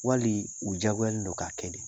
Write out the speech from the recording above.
Wali u diyagoyalen don k'a kɛ de